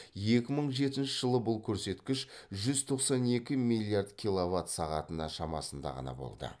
екі мың жетінші жылы бұл көрсеткіш жүз тоқсан екі миллиард киловатт сағатына шамасында ғана болды